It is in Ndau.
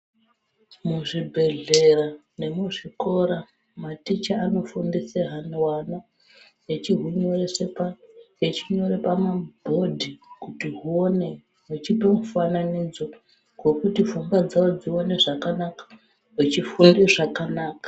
Muzvibhedhlera nemuzvikora maticha anofundise hwana echinyore pamabhodhi kuti huone, vechipe mufananidzo hwekuti pfungwa dzavo dzione zvakanaka vechifunde zvakanaka.